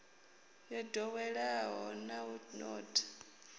yo ḓoweleaho na u notha